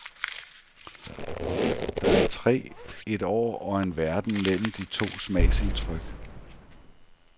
Der er tre et år og en verden mellem de to smagsindtryk.